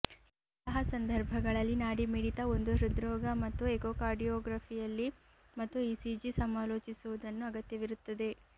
ಇಂತಹ ಸಂದರ್ಭಗಳಲ್ಲಿ ನಾಡಿ ಮಿಡಿತ ಒಂದು ಹೃದ್ರೋಗ ಮತ್ತು ಎಕೋಕಾರ್ಡಿಯೋಗ್ರಫಿಯಲ್ಲಿ ಮತ್ತು ಇಸಿಜಿ ಸಮಾಲೋಚಿಸುವುದನ್ನು ಅಗತ್ಯವಿರುತ್ತದೆ